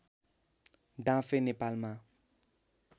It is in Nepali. डाँफे नेपालमा